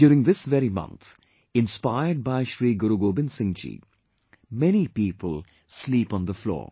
During this very month, inspired by Shri Guru Gobind Singhji, many people sleep on the floor